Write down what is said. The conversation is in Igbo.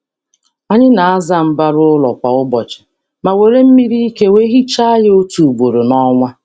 Anyị na-asa mbara ụlọ kwa ụbọchị, ma na-asa ya n’ike na mmiri otu ugboro n’ọnwa.